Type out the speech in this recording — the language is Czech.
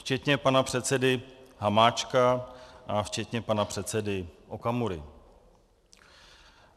Včetně pana předsedy Hamáčka a včetně pana předsedy Okamury.